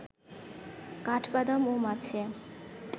কাঠবাদাম ও মাছে